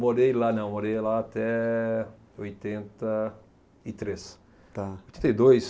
Morei lá não, morei lá até oitenta e três. Tá. Oitenta e dois